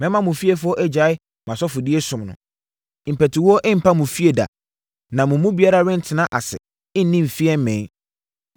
Mɛma mo fiefoɔ agyae mʼasɔfodie som no. Mpatuwuo mpa mo fie da na mo mu biara rentena ase nni mfeɛ, mmee.